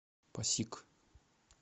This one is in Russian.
пасиг